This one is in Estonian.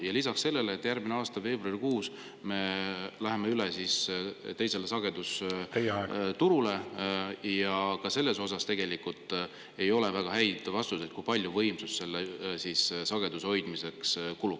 Ja lisaks sellele, järgmise aasta veebruarikuus me läheme üle teisele sagedus ja ka selles osas ei ole väga häid vastuseid, kui palju võimsust sageduse hoidmiseks kulub.